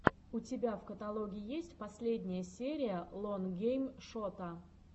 у тебя в каталоге есть последняя серия лон гейм шота